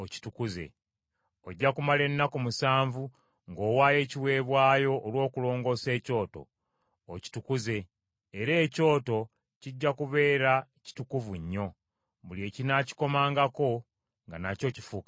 Ojja kumala ennaku musanvu ng’owaayo ekiweebwayo olw’okulongoosa ekyoto, okitukuze; era ekyoto kijja kubeera kitukuvu nnyo, buli ekinaakikomangako nga nakyo kifuuka kitukuvu.